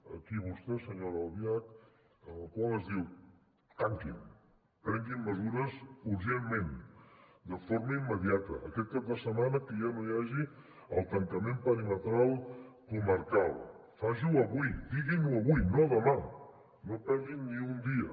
aquí vostè senyora albiach amb el qual ens diu tanquin prenguin mesures urgentment de forma immediata aquest cap de setmana que ja no hi hagi el tancament perimetral comarcal facin ho avui diguin ho avui no demà no perdin ni un dia